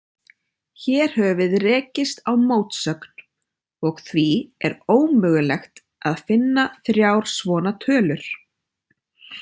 Hér höfum við rekist á mótsögn, og því er ómögulegt að finna þrjár svona tölur.